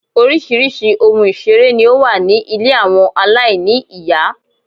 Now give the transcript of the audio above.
Oríṣiríṣi ohun ìṣeré ní ó wà ní ilé àwọn aláìní ìyá.